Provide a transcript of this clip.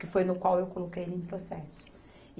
Que foi no qual eu coloquei ele em processo.